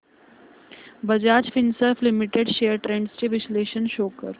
Bajaj Finserv limited shares trends चे विश्लेषण show कर